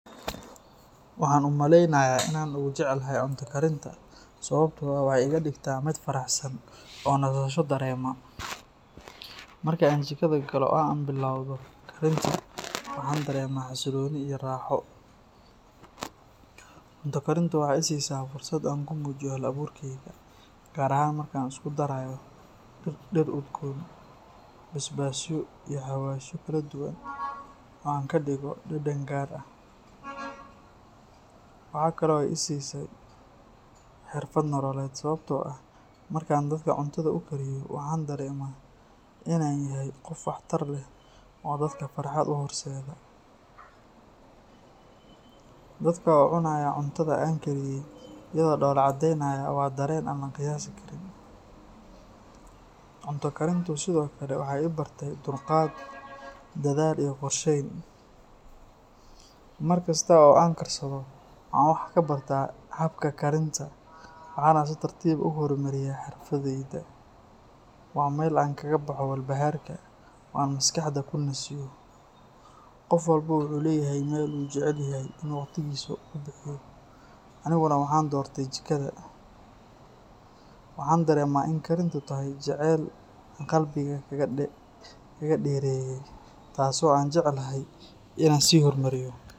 Waxaan u maleynayaa in aan ugu jecelahay cunto karinta sababtoo ah waxay iga dhigtaa mid faraxsan oo nasasho dareema. Marka aan jikada galo oo aan bilowdo karinta, waxaan dareemaa xasillooni iyo raaxo. Cunto karintu waxay i siisaa fursad aan ku muujiyo hal-abuurkeyga, gaar ahaan marka aan isku darayo dhir udgoon, basbaasyo iyo xawaashyo kala duwan oo aan ka dhigo dhadhan gaar ah. Waxa kale oo ay i siisay xirfad nololeed, sababtoo ah markaan dadka cuntada u kariyo, waxaan dareemaa in aan yahay qof wax tar leh oo dadka farxad u horseeda. Dadka oo cunaya cuntada aan kariyay iyagoo dhoolla caddeynaya waa dareen aan la qiyaasi karin. Cunto karintu sidoo kale waxay i bartay dulqaad, dadaal iyo qorsheyn. Mar kasta oo aan karsado, waxaan wax ka barta habka karinta, waxaana si tartiib ah u horumariyaa xirfaddayda. Waa meel aan kaga baxo walbahaarka, oo aan maskaxda ku nasiyo. Qof walba wuxuu leeyahay meel uu jecel yahay inuu waqtigiisa ku bixiyo, aniguna waxaan doortay jikada. Waxaan dareemaa in karintu tahay jacayl aan qalbiga kaga dheereeyay, taasoo aan jeclahay in aan sii horumariyo.